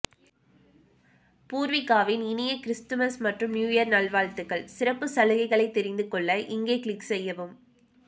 பூர்விகாவின் இனிய கிறிஸ்துமஸ் மற்றும் நியூயர் நல் வாழ்த்துக்கள் சிறப்பு சலுகைகளை தெரிந்து கொள்ள இங்கே கிளிக் செய்யவும்